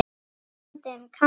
Talandi um kast.